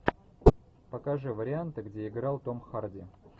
покажи варианты где играл том харди